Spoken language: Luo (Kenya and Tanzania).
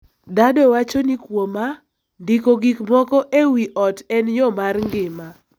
Daddo wacho ni kuoma, ndiko gik moko e wi ot en yo mar ngima.